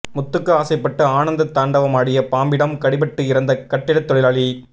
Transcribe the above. முத்துக்கு ஆசைப்பட்டு ஆனந்த தாண்டவமாடிய பாம்பிடம் கடிபட்டு இறந்த கட்டிடத் தொழிலாளி